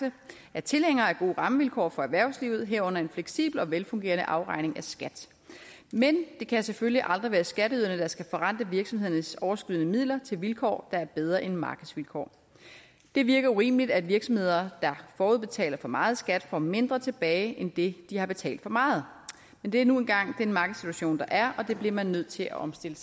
er tilhængere af gode rammevilkår for erhvervslivet herunder en fleksibel og velfungerende afregning af skat men det kan selvfølgelig aldrig være skatteyderne der skal forrente virksomhedernes overskydende midler til vilkår der er bedre end markedsvilkår det virker urimeligt at virksomheder der forudbetaler for meget i skat får mindre tilbage end det de har betalt for meget men det er nu engang den markedssituation der er og det bliver man nødt til at omstille